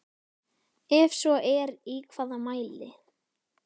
Ef svo er í hvaða mæli?